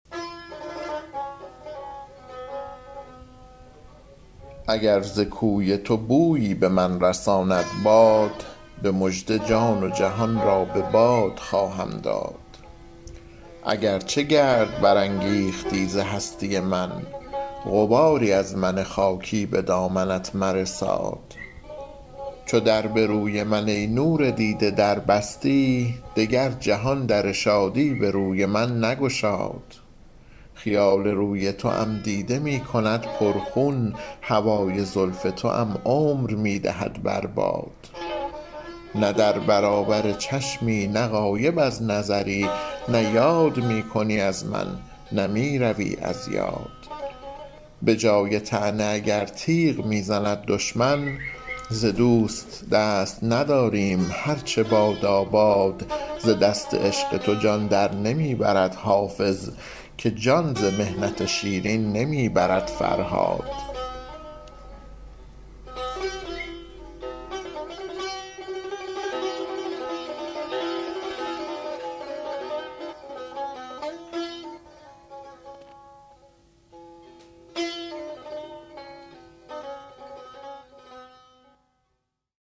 اگر ز کوی تو بویی به من رساند باد به مژده جان و جهان را به باد خواهم داد اگر چه گرد برانگیختی ز هستی من غباری از من خاکی به دامنت مرساد چو در به روی من ای نور دیده در بستی دگر جهان در شادی به روی من نگشاد خیال روی توام دیده می کند پر خون هوای زلف توام عمر می دهد بر باد نه در برابر چشمی نه غایب از نظرم نه یاد می کنی از من نه می روی از یاد به جای طعنه اگر تیغ می زند دشمن ز دوست دست نداریم هر چه باداباد ز دست عشق تو عبدالمجید جان نبرد که جان ز محنت شیرین نمی برد فرهاد